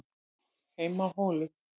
HEIMA Á HÓLUM